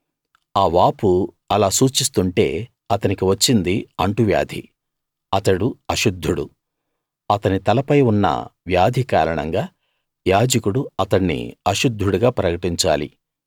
ఆ వాపు అలా సూచిస్తుంటే అతనికి వచ్చింది అంటువ్యాధి అతడు అశుద్ధుడు అతని తలపై ఉన్న వ్యాధి కారణంగా యాజకుడు అతణ్ణి అశుద్ధుడుగా ప్రకటించాలి